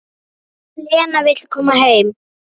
Lena vill koma heim.